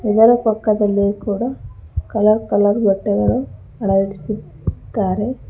ಇದರ ಪಕ್ಕದಲ್ಲಿ ಕೂಡ ಕಲರ್ ಕಲರ್ ಬಟ್ಟೆಗಳು ಅಳವಡಿಸಿದ್ದಾರೆ.